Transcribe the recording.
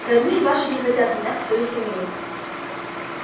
родные ваши не хотят меня в свою семью